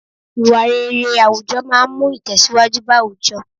Ìwà rere àwùjọ máa ń mú Itesiwaju bá àwùjọ.